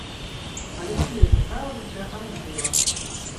алексея михайловича андреева